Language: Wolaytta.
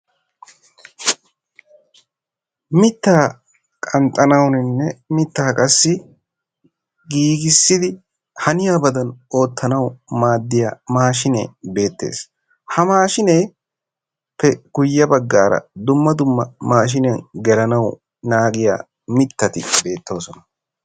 Mittaa qanxxanawunne miittaa qassi giigissidi hanyaabadan ottanawu maaddiyaa maashshine bettees. Ha maashshiyappe guyye baggaara dumma dumma maashiniyan geelanawu naagiyaa miittati beettosona.